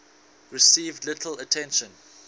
received little attention